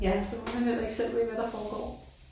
Så ved man heller ikke selv helt hvad der foregår